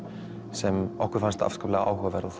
sem okkur fannst afskaplega áhugaverð og